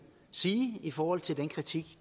sige i forhold til den kritik